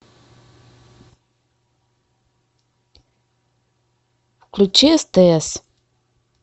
включи стс